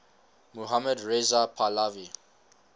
mohammad reza pahlavi